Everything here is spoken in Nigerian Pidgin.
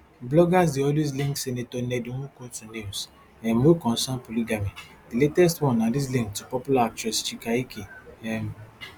bloggers dey always link senator ned nwoko to news um wey concern polygamy di latest one na dis link to popular actress chika ike um